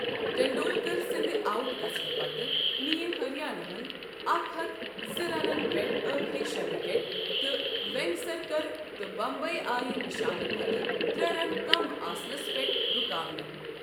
ٹنڈولکر سٕندِ آؤٹ گژھنہٕ پتہٕ ، نِیہ ہریاناہن اکھ ہتھ زٕ رنن پیٹھ آخری شٚے ِوکیٹ تہٕ ویٚنگسرکَر تہٕ بمبئی آیہ نِشانہٕ کھوتہٕ ترٛے رن کم آسنس پیٹھ رُکاونہٕ ۔